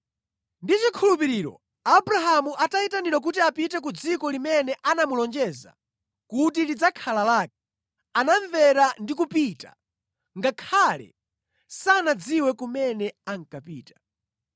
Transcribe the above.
Ndi chikhulupiriro Abrahamu atayitanidwa kuti apite ku dziko limene anamulonjeza kuti lidzakhala lake, anamvera ndi kupita, ngakhale sanadziwe kumene ankapita.